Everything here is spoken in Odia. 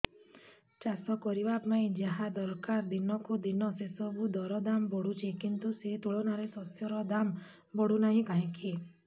ଚାଷ କରିବା ପାଇଁ ଯାହା ଦରକାର ଦିନକୁ ଦିନ ସେସବୁ ର ଦାମ୍ ବଢୁଛି କିନ୍ତୁ ସେ ତୁଳନାରେ ଶସ୍ୟର ଦାମ୍ ବଢୁନାହିଁ କାହିଁକି